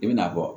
I bɛna fɔ